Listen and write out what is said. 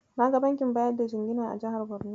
Na ga bankin bayar da jingina a jihar Borno.